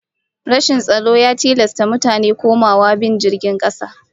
Rashin tsaro ya tilasta mutane komawa bin jirgin kasa